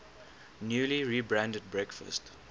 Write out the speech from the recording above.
newly rebranded breakfast